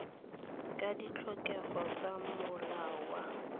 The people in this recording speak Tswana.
ka ditlhokego tsa molao wa